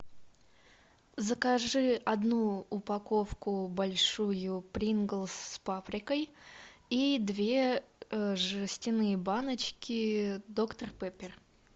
закажи одну упаковку большую принглс с паприкой и две жестяные баночки доктор пеппер